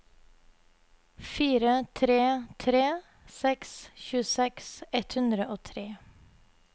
fire tre tre seks tjueseks ett hundre og tre